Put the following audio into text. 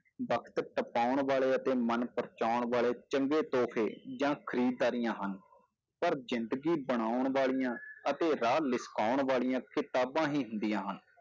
ਵਕਤ ਟਪਾਉਣ ਵਾਲੇ ਅਤੇ ਮਨ ਪਰਚਾਉਣ ਵਾਲੇੇ ਚੰਗੈ ਤੋਹਫ਼ੇ ਜਾਂ ਖ਼ਰੀਦਦਾਰੀਆਂ ਹਨ ਪਰ ਜ਼ਿੰਦਗੀ ਬਣਾਉਣ ਵਾਲੀਆਂ ਅਤੇ ਰਾਹ ਲਿਸ਼ਕਾਉਣ ਵਾਲੀਆਂ ਕਿਤਾਬਾਂ ਹੀ ਹੂੰਦੀਆਂ ਹਨ